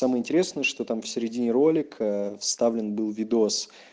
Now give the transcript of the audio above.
самое интересное что там в середине ролика вставлен был видос